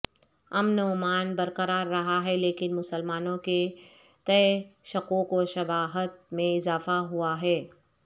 امن ومان برقرار رہا ہے لیکن مسلمانوں کے تئیں شکوک وشبہات میں اضافہ ہوا ہے